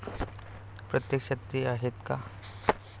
प्रत्यक्षात ते आहेत का?